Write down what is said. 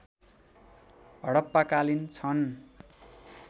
हडप्पाकालीन छन्